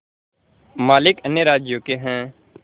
मालिक अन्य राज्यों के हैं